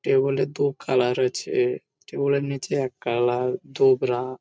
কেউ বলে দু কালার আছে কেউ বলে নিচে এক কালার তোবড়া ।